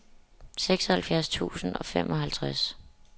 seksoghalvfjerds tusind og femoghalvtreds